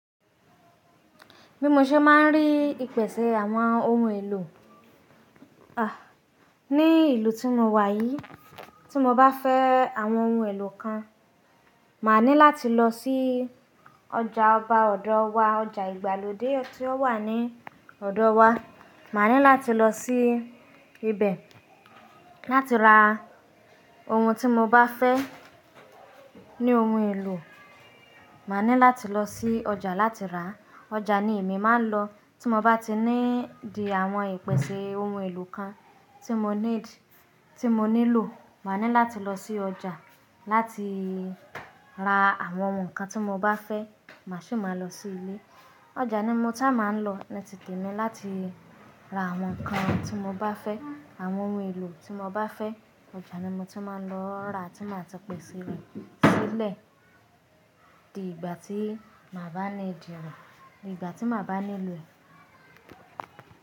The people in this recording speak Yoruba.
Mímú ṣé máa ń rí ìpèsè àwọn ohun èlò. Ah! Ní ìlú tí mo wà yìí, tí mo bá fẹ́ àwọn ohun èlò kan, màá ní láti lọ sí ọjà ọba ọ̀dọ̀ wa, ọjà ìgbàlódé tí ó wà ní ọ̀dọ̀ wa. Màá ní láti lọ sí ibẹ̀, láti ra ohun tí mo bá fẹ́ ní ohun èlò, màá ní láti lọ sí ọjà láti rà. Ọjà ni èmi máa ń lọ tí mo bá ti need àwọn ìpèsè ohun èlò kan tí mo need, tí mo nílò. Màá ní láti lọ sí ọjà láti ra àwọn ohun kan tí mo bá fẹ́, màá sì máa lọ sí ilé. Ọjà ni mo sáà máa ń lọ ni ti tèmi láti ra àwọn ohun kan tí mo bá fẹ́, àwọn ohun èlò tí mo bá fẹ́. Ọjà ni mo táà máa ń lọ rà tí màá ṣe pèsè rẹ̀ sílé. Dì ìgbà tí màá bá need re, ìgbà tí màá bá ní lo e.